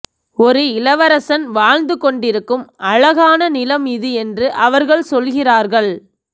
ஒரு இளவரசன் வாழ்ந்து கொண்டிருக்கும் அழகான நிலம் இது என்று அவர்கள் சொல்கிறார்கள்